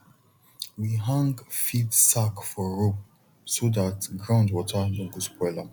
we hang feed sack for rope so that ground water no go spoil am